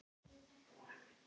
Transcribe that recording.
Hringa sig utan um mig.